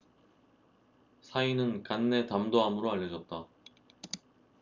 사인死因은 간내 담도암으로 알려졌다